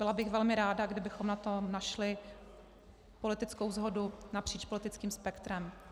Byla bych velmi ráda, kdybychom na tom našli politickou shodu napříč politickým spektrem.